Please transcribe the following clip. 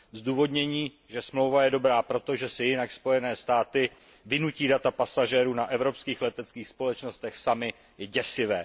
Zdůvodnění, že smlouva je dobrá proto, že si jinak Spojené státy vynutí data pasažérů na evropských leteckých společnostech samy, je děsivé.